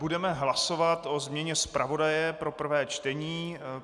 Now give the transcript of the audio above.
Budeme hlasovat o změně zpravodaje pro prvé čtení.